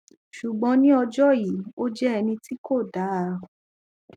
ṣùgbọn ní ọjọ yìí ó jẹ ẹni tí kò dáa